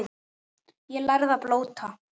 Ég lærði að blóta.